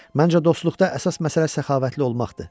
Məncə dostluqda əsas məsələ səxavətli olmaqdır.